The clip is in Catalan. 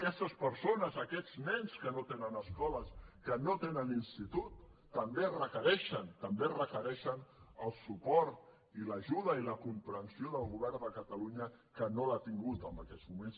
aquestes persones aquests nens que no tenen escoles que no tenen institut també requereixen també requereixen el suport i l’ajuda i la comprensió del govern de catalunya que no l’ha tingut en aquests moments